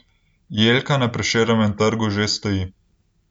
Jelka na Prešernovem trgu že stoji.